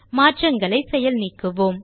மாற்றங்களை செயல் நீக்குவோம்